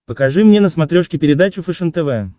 покажи мне на смотрешке передачу фэшен тв